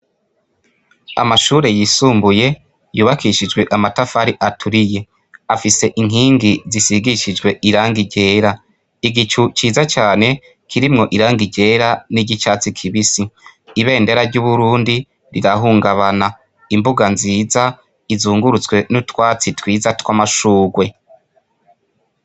Amashure yisumbuye yubakishijwe amatafari aturiye afise inkingi zisigishijwe irangi ryera igicu ciza cane kirimwo irangi ryera n'iry'icatsi kibisi. Ibendera ry'Uburundi rirahungabana imbuga nziza izungurutswe n'utwatsi twiza tw'amashurwe.